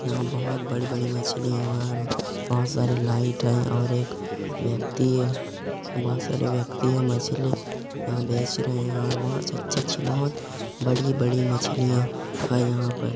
यहाँ बहोत बड़ी-बड़ी मछली है बहोत सारी लाइट है और एक व्यक्ति बहोत सारे व्यक्ति है मछली यहाँ बेच रहे है और बहोत अच्छी-अच्छी बहोत बड़ी-बड़ी मछलियाँ है।